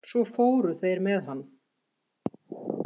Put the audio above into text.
Svo fóru þeir með hann.